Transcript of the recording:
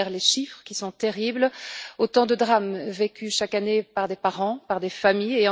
Derrière les chiffres, qui sont terribles, autant de drames vécus chaque année par des parents et des familles.